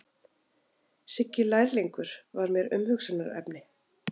Siggi lærlingur var mér umhugsunarefni.